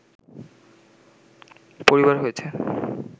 পরিবার হয়েছে